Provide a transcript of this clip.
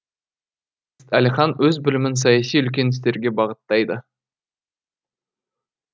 әлихан өз білімін саяси үлкен істерге бағыттайды